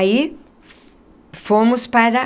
Aí, fomos para...